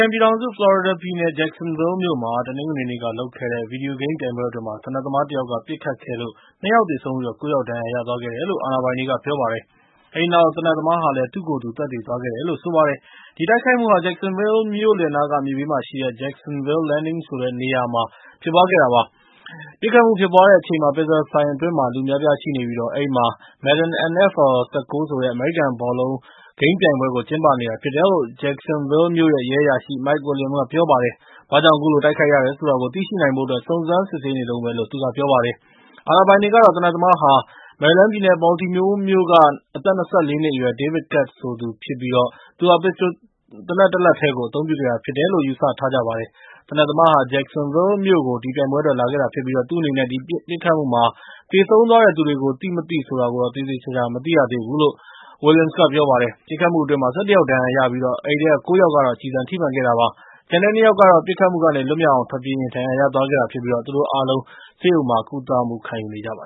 န်ပြည်ထောင်စု ဖလော်ရီဒါပြည်နယ် Jacksonville မြို့မှာ တနင်္ဂနွေနေ့ လုပ်ခဲ့တဲ့ ဗီဒီယိုဂိမ်းပြိုင်ပွဲအတွင်း သေနတ်သမား တစ်ယောက်က ပစ်ခတ်ခဲ့လို့ ၂ ယောက်သေဆုံးပြီး ၉ ယောက်ဒဏ်ရာရသွားခဲ့တယ်လို့ အာဏာပိုင်တွေက ပြောပါတယ်။ အဲဒီနောက် သေနတ်သမားဟာလည်း သူ့ကိုယ်သူ သတ်သေသွားခဲ့တယ်လို့ဆိုပါတယ်။ ဒီတိုက်ခိုက်မှုဟာ Jacksonville မြို့လယ်နားက မြစ်ဘေးမှာရှိတဲ့ Jacksonville Landing နေရာက စားသောက်ဆိုင်တခုအတွင်းမှာ ဖြစ်ခဲ့တာပါ။ ပစ်ခတ်မှုဖြစ်ပွားခဲ့တဲ့အချိန်မှာ Pizza ဆိုင်အတွင်းမှာ လူအများအပြားရှိနေပြီး၊ အဲဒီမှာ Madden NFL 19 ဆိုတဲ့ အမေရိကန်ဘောလုံး ဂိမ်းပြိုင်ပွဲကို ကျင်းပနေတာဖြစ်တယ်လို့ Jacksonville မြို့ရဲ့ ရဲအရာရှိ Mike Williams က ပြောပါတယ်။ ဘာကြောင့်အခုလို တိုက်ခိုက်ရတယ်ဆိုတာကို သိရှိနိုင်ဖို့အတွက် စုံစမ်းစစ်ဆေးနေတုန်းပဲလို့ Williams က ပြောပါတယ်။ အာဏာပိုင်တွေကတော့ သေနတ်သမားဟာဟာ မေရီလန်းပြည်နယ် Baltimore မြို့က အသက် ၂၄ နှစ်အရွယ် David Katz ဆိုသူဖြစ်ပြီး၊ သူဟာ ပစ္စတိုသေနတ်တလက်တည်းကို အသုံးပြုခဲ့တာဖြစ်တယ်လို့ မှတ်ယူထားါတယ်။ သေနတ်သမားဟာ Jacksonville မြို့ကို ဒီပြိုင်ပွဲအတွက် လာခဲ့တာဖြစ်ပြီး၊ သူ့အနေနဲ့ ဒီပစ်ခတ်မှုမှာ သေဆုံးသွားတဲ့သူတွေကို သိမသိဆိုတာတော့ သေသေချာချာ မသိရသေးဘူးလို့ Williams က ပြောပါတယ်။ ပစ်ခတ်မှုအတွင်း ၁၁ ယောက် ဒဏ်ရာရခဲ့ကြပြီး၊ အဲဒီထဲက ၉ ယောက်ကတော့ ကျည်ဆံထိမှန်ခဲ့တာဖြစ်ပါတယ်။ ကျန်တဲ့ ၂ ယောက်ကတော့ ပစ်ခတ်မှုကနေ လွတ်မြောက်အောင် ထွက်ပြေးရင် ဒဏ်ရာရသွားခဲ့တာဖြစ်ပြီး သူတို့အားလုံး ဆေးရုံမှာ ကုသမှုယူနေကြပါ